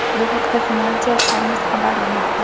Bu haqda Financial Times xabar bermoqda .